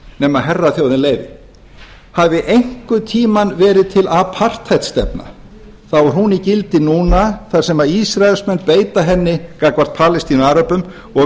nema að herraþjóðin leyfi hafi einhvern tímann verið til apartheid stefna þá er hún í gildi núna þar sem ísraelsmenn beita henni gagnvart palestínuaröbum og